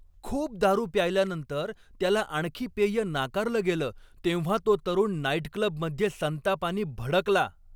खूप दारू प्यायल्यानंतर त्याला आणखी पेय नाकारलं गेलं तेव्हा तो तरुण नाईटक्लबमध्ये संतापानी भडकला.